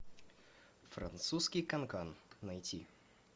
французский канкан найти